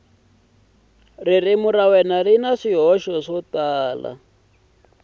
ri na swihoxo swo tala